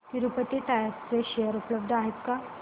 Tirupati tyres चे share उपलब्ध आहेत का